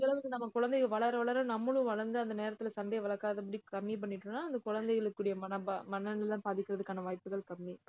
முடிஞ்ச அளவுக்கு நம்ம குழந்தைங்க, வளர வளர நம்மளும் வளர்ந்து அந்த நேரத்திலே சண்டையை வளர்க்காதபடி கம்மி பண்ணிட்டோம்னா அந்தக் குழந்தைகளுக்குரிய மனப~ மனநிலை பாதிக்கிறதுக்கான வாய்ப்புகள் கம்மி.